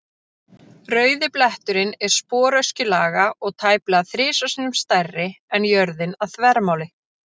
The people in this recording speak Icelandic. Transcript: Rauði bletturinn er sporöskjulaga og tæplega þrisvar sinnum stærri en jörðin að þvermáli.